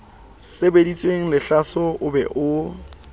sebeditsweng lehlaso o be o